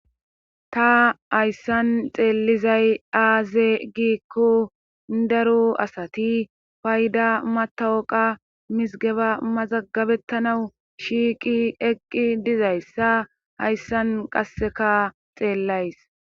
Ta hayssan xeellizay aaze giikko daru asati fayda matawoqa misgeba mazagabettanawu shiiqi eqqi dizayssa hayssan qasseka xeellays.